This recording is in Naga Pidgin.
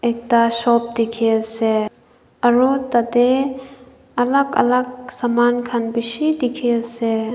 ekta shop dekhi ase aru tarte alag alag saman khan bisi dekhi ase.